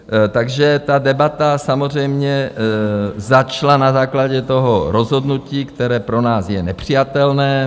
Takže ta debata samozřejmě začala na základě toho rozhodnutí, které pro nás je nepřijatelné.